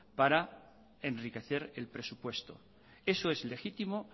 para enriquecer el presupuesto eso es legítimo